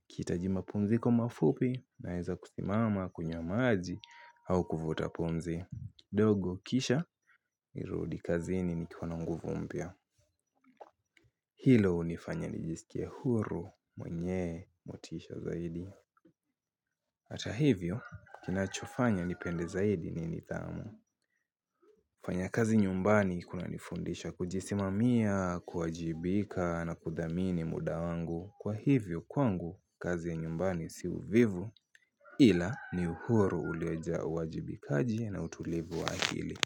nikihitaji mapumziko mafupi naeza kusimama kunywa maji au kufuta pumzi dogo kisha nirudi kazini nikiwa na nguvu mpya Hilo hunifanya nijisikie huru, mwenye motisha zaidi Ata hivyo kinachofanya nipende zaidi ni nidhamu kufanya kazi nyumbani kunanifundisha kujisimamia, kuajibika na kudhamini muda wangu kwa hivyo kwangu kazi ya nyumbani si uvivu ila ni uhuru uliojaa uajibikaji na utulivu wa akili.